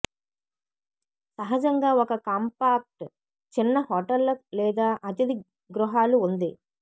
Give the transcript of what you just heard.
సహజంగా ఒక కాంపాక్ట్ చిన్న హోటళ్లు లేదా అతిథి గృహాలు ఉంది